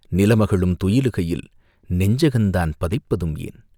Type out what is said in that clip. நிலமகளும் துயிலுகையில் நெஞ்சகந்தான் பதைப்பதுமேன்?..